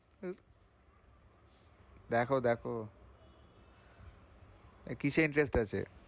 দেখো দেখো এ কিসে interest আছে?